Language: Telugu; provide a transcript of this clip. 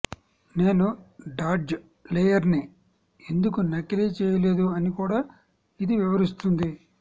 నేను డాడ్జ్ లేయర్ని ఎందుకు నకిలీ చేయలేదు అని కూడా ఇది వివరిస్తుంది